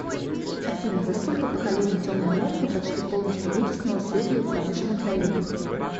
афина за сколько поколений темная морфа почти полностью вытеснила светлую в промышленных районах